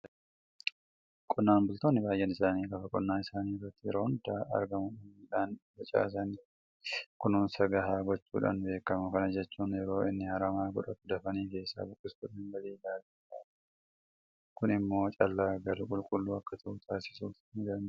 Qonnaan bultoonni baay'een isaanii lafa qonnaa isaanii irratti yeroo hunda argamuudhaan midhaan facaasaniif kunuunsa gahaa gochuudhaan beekamu. Kana jechuun yeroo inni haramaa godhatu dafanii keessaa buqqisuudhaan galii gaarii irraa argatu. Kun immoo callaan galu qulqulluu akka ta'u taasisuus nidanda'a.